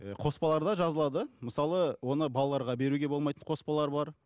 ііі қоспаларда жазылады мысалы оны балаларға беруге болмайтын қоспалар бар